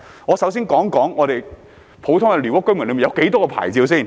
我首先談談普通寮屋居民有多少種牌照。